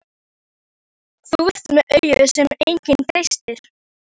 Þú ert með augu sem enginn treystir.